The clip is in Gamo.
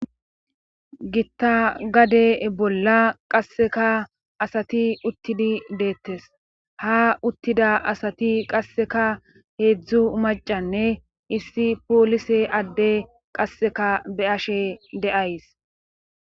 gitta gade bolla qasseka asati uttidi deettes ha uttida asati qasseka heedzdzu macanne issi poolise adde qasseka be ashe de'ays